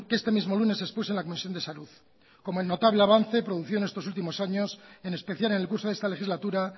este mismo lunes expuse en la comisión de salud como el notable avance producido en estos últimos años en especial en el curso de esta legislatura